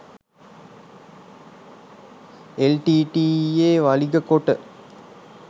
එල්.ටී.ටී.ඊ.යේ වළිග කොට